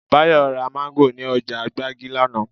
Báyọ̀ ra Máńgò ní ọjà gbági lánàá